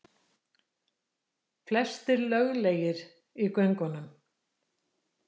Flestir löglegir í göngunum